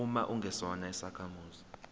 uma ungesona isakhamuzi